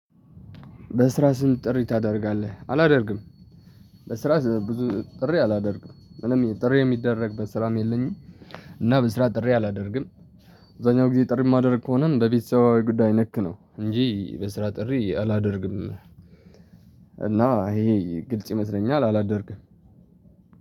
በስራ ሰዓት ጥሪ ታደርጋለህ? አላደርግም በስራ ብዙ ጥሪ አላደርግም ምንም ጥሪ የሚደረግበት ስራም የለኝም እና በስራ ጥሪ አላደርግም አብዛኛውን ጊዜ ጥሪ ማድረግ ከሆነም በቤተሰባዊ ጉዳይ ነክ ነው እንጂ በስራ ጥሪ አላደርግም። እና ይሄ ግልጽ ይመስለኛል አላደርግም።